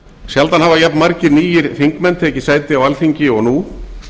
sjaldan hafa jafnmargir nýir þingmenn tekið sæti á alþingi og nú